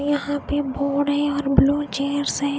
यहाँ पे बोर्ड है और ब्लू चैयर्स हैं।